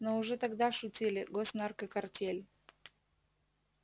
но уже тогда шутили госнаркокартель